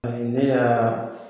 Ani ne y'a